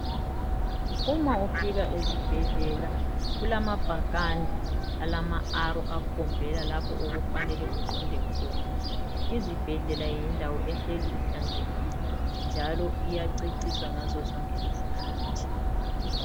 Uma ufika ezibhedlela kulamabhakani alama arrow akhombela lapho okufanele uqonde khona, izibhedlela yindawo ehleli ihlanzekile njalo iyaceciswa ngazozonke izikhathi.